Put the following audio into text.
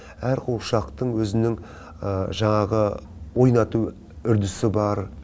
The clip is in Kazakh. әр қуыршақтың өзінің жаңағы ойнату үрдісі бар